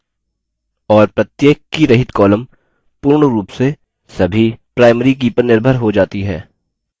और प्रत्येक कीरहित column पूर्ण रूप से सभी primary की पर निर्भर हो जाती है